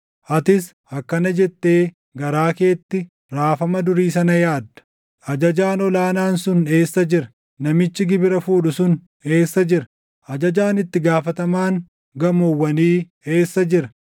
Atis akkana jettee garaa keetti raafama durii sana yaadda: “Ajajaan ol aanaan sun eessa jira? Namichi gibira fuudhu sun eessa jira? Ajajaan itti gaafatamaan gamoowwanii eessa jira?”